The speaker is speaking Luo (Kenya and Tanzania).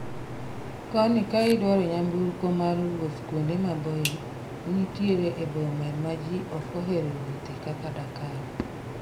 koni kaidwaro nyamburko war wuoth kuonde maboyo nitie boma ma jii ok ohero wuothe kaka Dakar